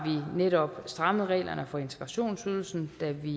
vi netop strammet reglerne for integrationsydelsen da vi